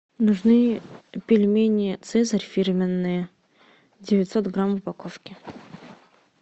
нужны пельмени цезарь фирменные девятьсот грамм в упаковке